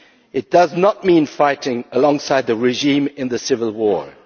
It does not mean fighting alongside the regime in the civil